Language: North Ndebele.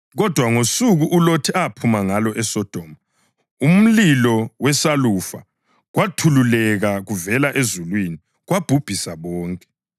Kodwa ngosuku uLothi aphuma ngalo eSodoma, umlilo lesalufa kwathululeka kuvela ezulwini kwababhubhisa bonke.